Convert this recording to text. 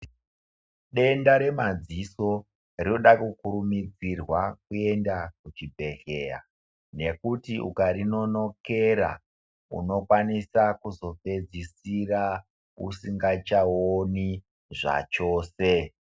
Denda remadziso rinoda kukurumidzirwa kuenda kuchibhedhleya nekuti ukarinonokera unokwanisa kuzopedzisira usingachaoni zvachose .